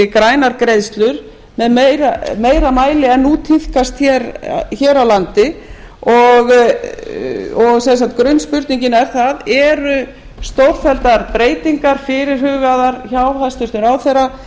grænar greiðslur í meira mæli en nú tíðkast hér á landi og sem sagt grunnspurningin er eru stórfelldar breytingar fyrirhugaðar hjá hæstvirtum ráðherra